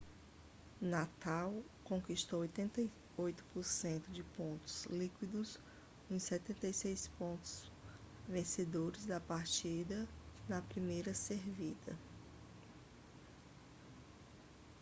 nadal conquistou 88% de pontos líquidos nos 76 pontos vencedores da partida na primeira servida